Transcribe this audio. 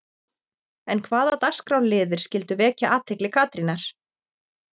En hvaða dagskrárliðir skyldu vekja athygli Katrínar?